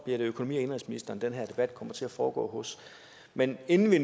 det økonomi og indenrigsministeren den her debat kommer til at foregå hos men inden vi